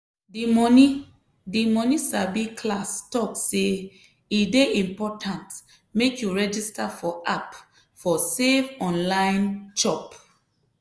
di money di money sabi class talk say e dey important make you register for app for safe online chop.